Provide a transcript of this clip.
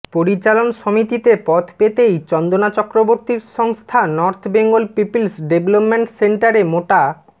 পরিচালন সমিতিতে পদ পেতেই চন্দনা চক্রবর্তীর সংস্থা নর্থ বেঙ্গল পিপলস ডেভেলপমেন্ট সেন্টারে মোটা